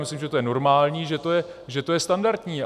Myslím, že to je normální, že to je standardní.